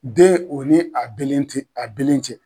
Den o ni a belen te a belen cɛ